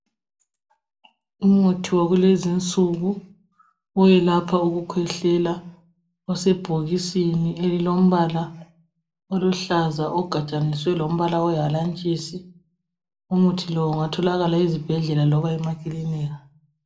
umuthi wakulezi insuku oyelapha ukukhwehlela osebhokisini elilombala oluhlaza ugadaniswe lombala owehalantshisi. Umuthi lo ungathokala ezibhedlela loba emakilini.